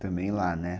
Também lá, né?